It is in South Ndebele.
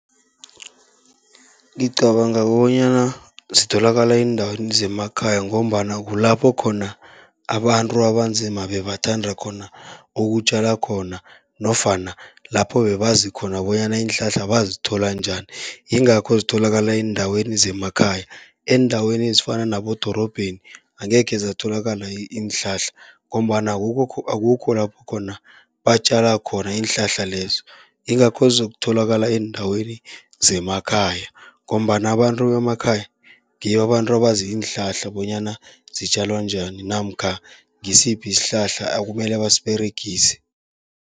Ngicabanga bonyana zitholakala eendaweni zemakhaya, ngombana kulapho khona abantu abanzima bebathanda khona ukutjala khona, nofana lapho bebazi khona bonyana iinhlahla bazithola njani. Yingakho zitholakala eendaweni zemakhaya, eendaweni ezifana nabodorobheni angekhe zatholakala iinhlahla, ngombana akukho lapho khona batjala khona iinhlahla lezo. Ingakho zizokutholakala eendaweni zemakhaya, ngombana abantu bemakhaya ngibo abantu abazi iinhlahla, bonyana zitjalwa njani namkha ngisiphi isihlahla ekumele basiberegise.